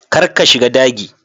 Kar ka shiga dagi.